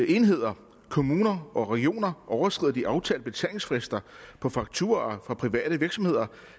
enheder kommuner og regioner overskrider de aftalte betalingsfrister på fakturaer fra private virksomheder